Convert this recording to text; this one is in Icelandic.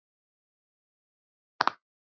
Farið og hvað tekur við?